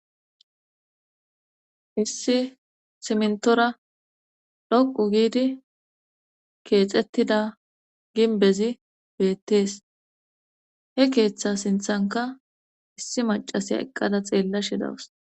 Issi simntora dhoqu giidi keexettida ginbezi beettees he keeththa sinthanka issi macasiya eqqada xeella shidawus.